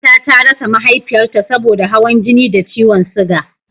Aisha ta rasa Mahaifiyarta saboda hawan jini da ciwon suga